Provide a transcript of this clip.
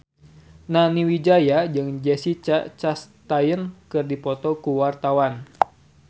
Nani Wijaya jeung Jessica Chastain keur dipoto ku wartawan